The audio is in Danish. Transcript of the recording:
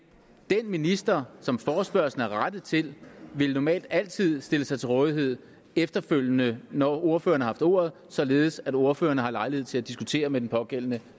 den minister som forespørgslen var rettet til ville normalt altid have stillet sig til rådighed efterfølgende når ordførerne havde haft ordet således at ordførerne havde lejlighed til at diskutere med den pågældende